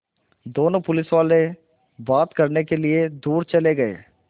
दोनों पुलिसवाले बात करने के लिए दूर चले गए